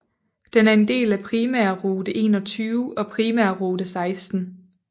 Den er en del af Primærrute 21 og Primærrute 16